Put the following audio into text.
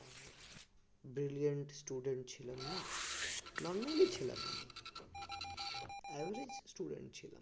brilliant student ছিলাম না normally ছিলাম আমি average student ছিলাম